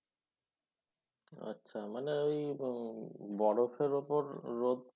আচ্ছা মানে ঐ উম বরফের উপর রোদ